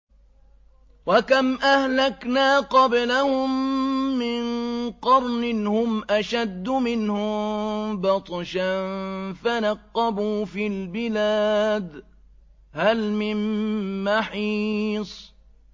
وَكَمْ أَهْلَكْنَا قَبْلَهُم مِّن قَرْنٍ هُمْ أَشَدُّ مِنْهُم بَطْشًا فَنَقَّبُوا فِي الْبِلَادِ هَلْ مِن مَّحِيصٍ